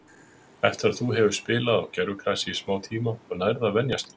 Eftir að þú hefur spilað á gervigrasi í smá tíma þá nærðu að venjast því.